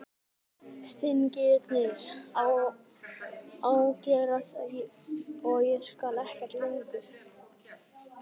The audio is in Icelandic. Stingirnir að ágerast og ég skil ekkert lengur.